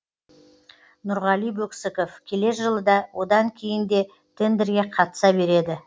нұрғали бөксіков келер жылы да одан кейін де тендерге қатыса береді